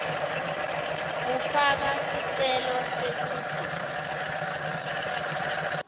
kufaka sicelo sekutsi